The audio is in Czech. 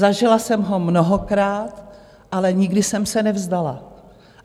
Zažila jsem ho mnohokrát, ale nikdy jsem se nevzdala.